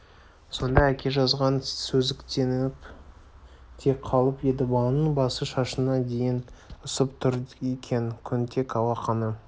сонда әке жазған сезіктеніп те қалып еді баланың басы шашына дейін ысып тұр екен көнтек алақаны